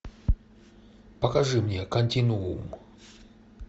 покажи мне континуум